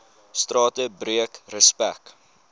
strate breek respek